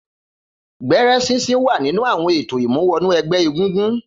Gbẹ̀rẹ̀ sinsin wà nínú awọn étó imúwọ̀nú ẹgbẹ égúngún